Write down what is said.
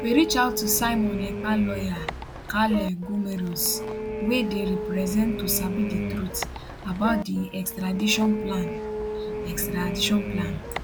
we reach out to simon ekpa lawyer kaarle gummerus wey dey represent to sabi di truth about di extradition plan extradition plan